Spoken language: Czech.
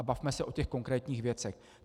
A bavme se o těch konkrétních věcech.